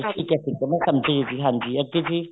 ਠੀਕ ਹੈ ਠੀਕ ਹੈ ਮੈਂ ਸਮਝਗੀ ਹਾਂਜੀ ਜੀ ਅੱਗੇ ਜੀ